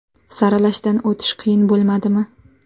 – Saralashdan o‘tish qiyin bo‘lmadimi?